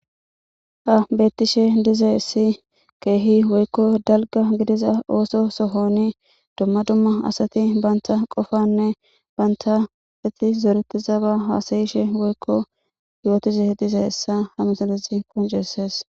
Ha betishe dizaysi kehi woyko dalga gidiza oso sohoni duma duma asati banta qofane banta zoretiza ba hasa'ishe woyko yotishe dizaysa ha missilezi qonc'ses.